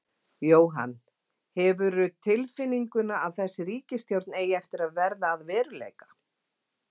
Jóhann: Hefurðu tilfinninguna að þessi ríkisstjórn eigi eftir að verða að veruleika?